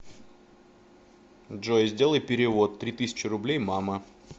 джой сделай перевод три тысячи рублей мама